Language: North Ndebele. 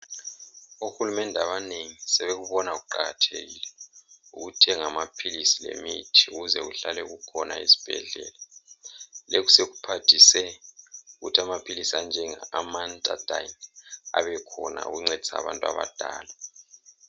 Ohulumende abanengi sebekubona kuqakathekile ukuthenga amaphilisi lemithi ukuze kuhlale kukhona ezibhedlela lokhu sekuphathise ukuthi amaphilizi anjenge Amantadine abekhona ukuncedisa abantu abadala.